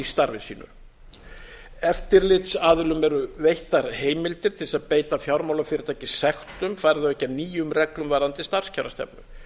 starfi sínu eftirlitsaðilum eru veittar heimildir til þess að beita fjármálafyrirtæki sektum fari þau ekki að nýjum reglum varðandi starfskjarastefnu